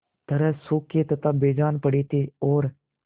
तरह सूखे तथा बेजान पड़े थे और